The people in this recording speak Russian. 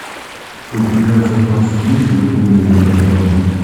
у тебя в запасе есть горбун из нотр дама